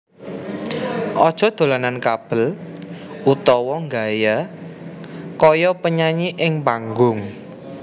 Aja dolanan kabel utawa nggaya kaya penyanyi ing panggung